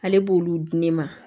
Ale b'olu di ne ma